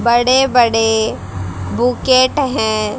बड़े-बड़े बुकेट हैं।